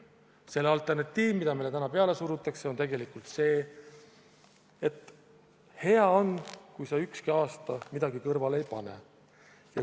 Selle alternatiiv, mida meile täna peale surutakse, on tegelikult see, et hea on, kui sa ükski aasta midagi kõrvale ei pane.